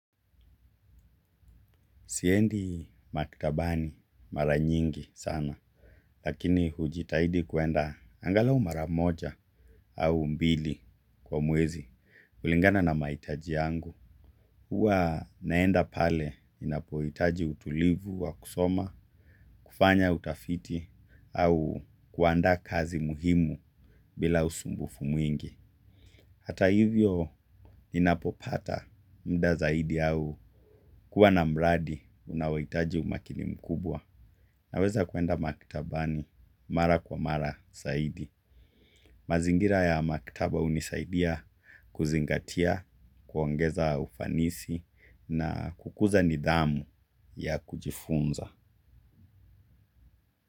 Siendi maktabani mara nyingi sana, lakini hujitahidi kuenda angalau mara moja au mbili kwa mwezi, kulingana na mahitaji yangu. Huwa naenda pale ninapohitaji utulivu wa kusoma, kufanya utafiti, au kuanda kazi muhimu bila usumbufu mwingi. Hata hivyo ninapopata muda zaidi au kuwa na mradi unaohitaji umakini mkubwa na weza kuenda maktabani mara kwa mara zaidi. Mazingira ya maktaba hunisaidia kuzingatia kuongeza ufanisi na kukuza nidhamu ya kujifunza.